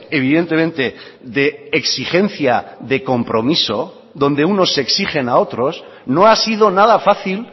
evidentemente de exigencia de compromiso donde unos exigen a otros no ha sido nada fácil